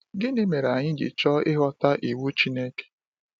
Gịnị mere anyị ji chọọ ịghọta iwu Chineke?